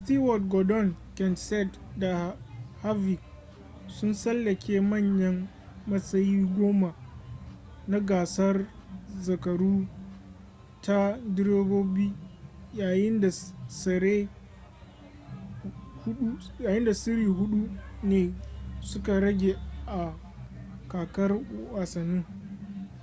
stewart gordon kenseth da harvick sun tsallake manyan matsayi goma na gasar zakaru ta direbobi yayin da tsere hudu ne suka rage a kakar wasannin